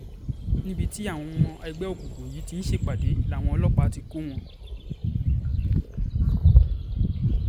níbi táwọn ọmọ ẹgbẹ́ òkùnkùn yìí ti ń ṣèpàdé làwọn ọlọ́pàá ti kọ́ wọn